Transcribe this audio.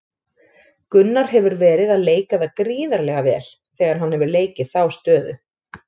Gunnar hefur verið að leika það gríðarlega vel þegar hann hefur leikið þá stöðu.